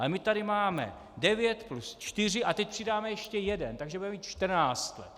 Ale my tady máme devět plus čtyři a teď přidáme ještě jeden, takže budeme mít čtrnáct let.